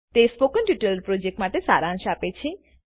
તે spoken tutorial પ્રોજેક્ટનો સારાંશ આપે છે